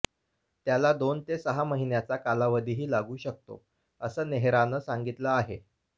त्याला दोन ते सहा महिन्याचा कालावधीही लागू शकतो असं नेहरानं सांगितलं आहे